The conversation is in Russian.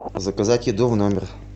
заказать еду в номер